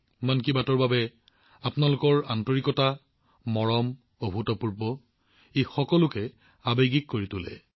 মন কী বাতৰ বাবে আপোনালোক সকলোৱে দেখুওৱা স্নেহ আৰু মৰম অভূতপূৰ্ব ই মানুহক আৱেগিক কৰি তোলে